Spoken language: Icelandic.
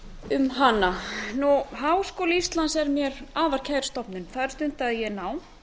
um hana háskóli íslands er mér afar kær stofnun þar stundaði ég nám